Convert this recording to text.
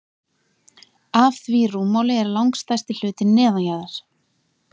af því rúmmáli er langstærsti hlutinn neðanjarðar